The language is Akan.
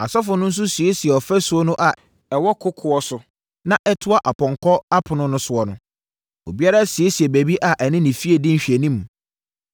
Asɔfoɔ no nso siesiee ɔfasuo no a ɛwɔ kokoɔ so na ɛtoa Apɔnkɔ Ɛpono no soɔ no. Obiara siesiee baabi a ɛne ne fie di nhwɛanim.